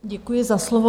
Děkuji za slovo.